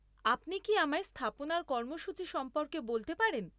আপনি কি আমায় স্থাপনার কর্মসূচী সম্পর্কে বলতে পারেন?